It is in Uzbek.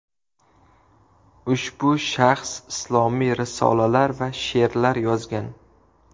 Ushbu shaxs islomiy risolalar va she’rlar yozgan.